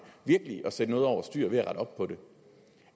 virkelig at sætte noget over styr ved at rette op på det